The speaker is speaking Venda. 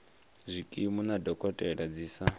zwikimu na dokotela dzi sa